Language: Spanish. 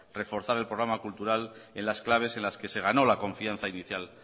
reforzar el programa cultural en las claves en las que se ganó la confianza inicial